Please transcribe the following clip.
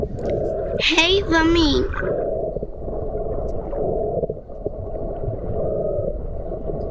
Heiða mín.